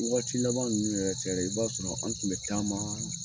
I wagati laban nunnu yɛrɛ tɛ yɛrɛ, i ba sɔrɔ an tun bɛ caman